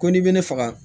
Ko n'i bɛ ne faga